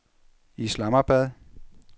Islamabad